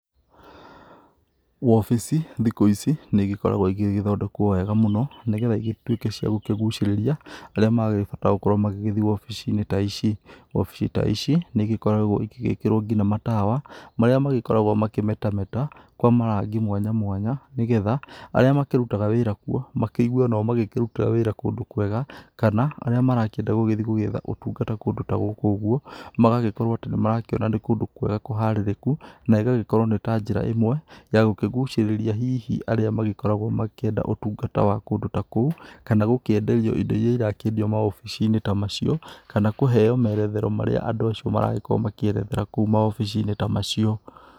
Wabĩcĩ thikũ ici nĩ ĩgĩkoragwo ĩgĩthondekwo wega mũno nĩgetha ĩgĩtuĩke cia gũkũgucĩrĩria arĩa maragĩbatara gukorwo magĩgĩthi obici-inĩ ta ici. Obici ta ici nĩ gĩkoragwo igĩgĩkĩrwo ngina matawa marĩa magĩkoragwo makĩmetameta kwa marangi mwanya mwanya nĩgetha arĩa makĩrutaga wĩra kuo makĩigue onao magĩkĩrutĩra wĩra kũndũ kwega, kana arĩa marakĩenda gũgĩthiĩ gũgĩetha ũtungata kũndũ ta gũkũ ũguo magagĩkorwo atĩ nĩ marakĩona nĩ kũndũ kwega kũharĩrĩku na ĩgagĩkorwo nĩ ta njĩra ĩmwe ya gũkĩgucĩrĩria hihi arĩa magĩkoragwo makĩenda ũtungata wa kũndũ ta kou kana gũkĩenderio indo iria irakĩendio maobici-inĩ ta macio, kana kũheyo meretherwo marĩa andũ acio marakorwo makĩerethera kũma maobici-inĩ ta macio.